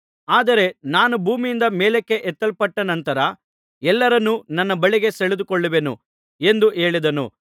ಆದರೆ ನಾನು ಭೂಮಿಯಿಂದ ಮೇಲಕ್ಕೆ ಎಬ್ಬಿಸಲ್ಪಟ್ಟ ನಂತರ ಎಲ್ಲರನ್ನೂ ನನ್ನ ಬಳಿಗೆ ಸೆಳೆದುಕೊಳ್ಳುವೆನು ಎಂದು ಹೇಳಿದನು